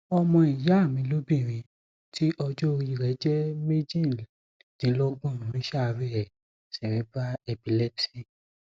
ọmọ ìyá mi lóbìnrin tí ọjọorí rẹ jẹ méjìdínlógbon ń ṣàárẹ cerebral epilepsy